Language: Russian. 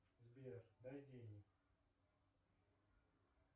сбер дай денег